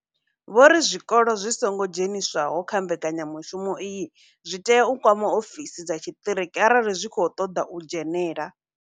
Vho ri zwikolo zwi songo dzheniswaho kha mbekanya mushumo iyi zwi tea u kwama ofisi dza tshiṱiriki arali zwi tshi khou ṱoḓa u dzhenela.